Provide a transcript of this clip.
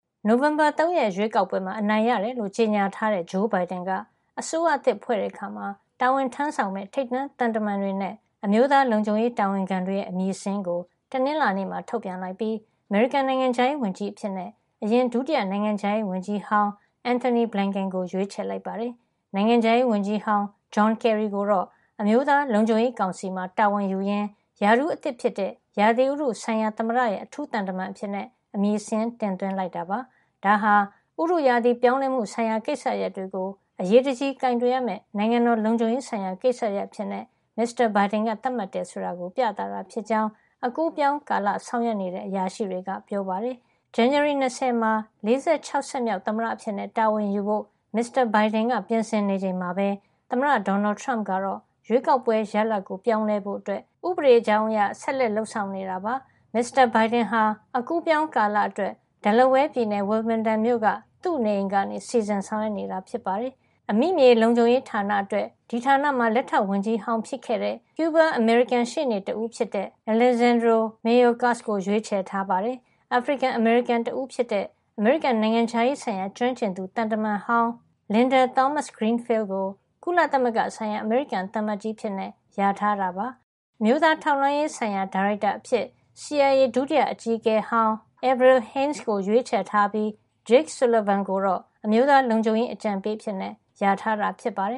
နိုဝင်ဘာ ၃ ရက်ရွေးကောက်ပွဲမှာ အနိုင်ရတယ်လို့ ကြေညာထားတဲ့ ဂျိုးဘိုင်ဒန်က အစိုးရသစ်ဖွဲ့တဲ့အခါမှာ တာဝန်ထမ်းဆောင်မယ့် ထိပ်တန်းသံတမန်တွေနဲ့ အမျိုးသား လုံခြုံရေးတာဝန်ခံတွေရဲ့ အမည်စာရင်းကို တနင်္လာနေ့မှာ ထုတ်ပြန်လိုက်ပြီး အမေရိကန် နိုင်ငံခြားရေးဝန်ကြီးအဖြစ် အရင် ဒုတိယနိုင်ငံခြားရေးဝန်ကြီးဟောင်း Antony Blinken ကို ရွေးချယ်လိုက်ပါတယ်။ နိုင်ငံခြားရေးဝန်ကြီး ဟောင်း John Kerry ကိုတော့ အမျိုးသားလုံခြုံရေးကောင်စီမှာ တာဝန်ယူရင်း ရာထူးအသစ်ဖြစ်တဲ့ ဥတုရာသီဆိုင်ရာ သမ္မတရဲ့ အထူးသံတမန်အဖြစ် အမည်စာရင်း တင်သွင်းလိုက်ပါတယ်။ ဒါဟာ ဥတုရာသီ ပြောင်းလဲမှုဆိုင်ရာ ကိစ္စရပ်တွေကို အရေးတကြီးကိုင်တွယ်ရမယ့် နိုင်ငံတော်လုံခြုံရေးဆိုင်ရာ ကိစ္စရပ်အဖြစ် မစ္စတာဘိုင်ဒန်က သတ်မှတ်တယ် ဆိုတာကို ပြသတာဖြစ်ကြောင်း အကူးအပြောင်းကာလ ဆောင်ရွက်နေတဲ့ အရာရှိတွေကပြောပါတယ်။ ဇန်နဝါရီ ၂၀ မှာ ၄၆ ဆက် မြောက် သမ္မတအဖြစ်တာဝန်ယူဖို့ မစ္စတာ ဘိုင်ဒန်က ပြင်ဆင်နေချိန်မှာပဲ သမ္မတဒေါ်နယ်ထရမ့်ကတော့ ရွေးကောက်ပွဲရလဒ်ကို ပြောင်းလဲဖို့ ဥပဒေ ကြောင်းအရ ဆက်လက်လုပ်ဆောင်နေတာပါ။ မစ္စတာဘိုင်ဒန်ဟာ အကူးအပြောင်းကာလအတွက် Delaware ပြည်နယ် Wilmington က သူ့နေအိမ်ကနေ စီစဉ် ဆောင်ရွက်နေတာပါ။ အမိမြေလုံခြုံရေးဌာနအကြီးအကဲ အတွက် ဒီဌာနမှာဒုတိယ ဝန်ကြီးဟောင်းဖြစ်ခဲ့တဲ့ ကျူးဘား- အမေရိကန် ရှေ့နေတဦးဖြစ်တဲ့ Alejandro Mayorkas ကို ရွေးချယ်ထားပါတယ်။ အာဖရိကန်- အမေရိကန် တဦးဖြစ်တဲ့ အမေရိကန် နိုင်ငံခြားရေးဆိုင်ရာ ကျွမ်းကျင်သူ သံတမန်ဟောင်း Linda Thomas-Greenfield ကို ကုလသမဂ္ဂဆိုင်ရာ အမေရိကန်သံအမတ်ကြီးအဖြစ် လျာထားတာ ဖြစ်ပါတယ်။ အမျိုးသားထောက်လှန်းရေးဆိုင်ရာ ဒါရိုက်တာအဖြစ် CIA ဒုတိအကြီးအကဲဟောင်း Avril Haines ကို ရွေးချယ်ထားပြီး Jake Sullivan ကိုတော့ အမျိုးသားလုံခြုံရေး အကြံပေးအဖြစ် လျာထားတာ ဖြစ်ပါတယ်